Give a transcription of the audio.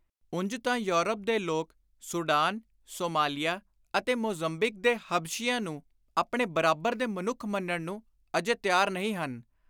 ਉਂਵ ਤਾਂ ਯੌਰਪ ਦੇ ਲੋਕ ਸੂਡਾਨ, ਸੋਮਾਲੀਆ ਅਤੇ ਮੋਜ਼ਮਬੀਕ ਦੇ ਹਬਸ਼ੀਆਂ ਨੂੰ ਆਪਣੇ ਬਰਾਬਰ ਦੇ ਮਨੁੱਖ ਮੰਨਣ ਨੂੰ ਅਜੇ ਤਿਆਰ ਨਹੀਂ ਹਨ,